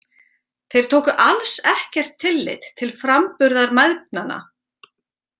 Þeir tóku alls ekkert tillit til framburðar mæðgnanna.